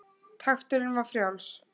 Takturinn var frjáls.